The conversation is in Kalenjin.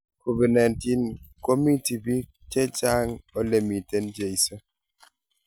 covid 19 komiti biik chechang olemiten cheiso